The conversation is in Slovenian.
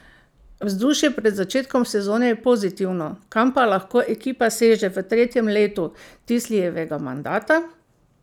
Vzdušje pred začetkom sezone je pozitivno, kam pa lahko ekipa seže v tretjem letu Tisljevega mandata?